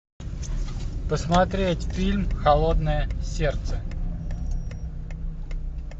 посмотреть фильм холодное сердце